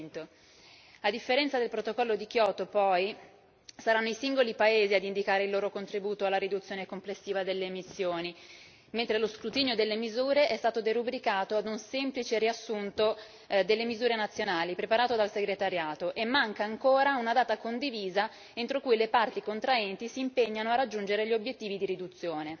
2100. A differenza del Protocollo di Kyoto poi, saranno i singoli paesi ad indicare il loro contributo alla riduzione complessiva delle emissioni, mentre lo scrutinio delle misure è stato derubricato a semplice riassunto delle misure nazionali, preparato dal Segretariato, e manca ancora una data condivisa entro cui le parti contraenti si impegnano a raggiungere gli obiettivi di riduzione.